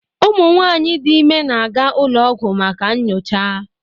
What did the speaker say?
Ụmụ nwanyị dị ime na-aga ụlọ ọgwụ maka nyocha